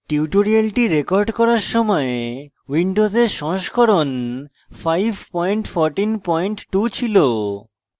tutorials record করার সময় windows সংস্করণ 5142 ছিল